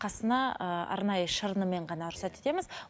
қасына ыыы арнайы шырынымен ғана рұқсат етеміз